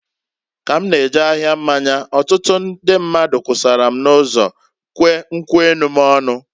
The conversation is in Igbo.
Ka m na-eje ahia mmanya, ọtụtụ ndị mmadụ kwusara m n'ụzọ kwee nkwu enu m ọnụ.